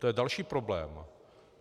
To je další problém.